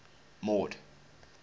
mord